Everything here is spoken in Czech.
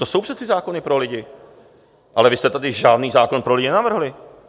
To jsou přece zákony pro lidi, ale vy jste tady žádný zákon pro lidi nenavrhli.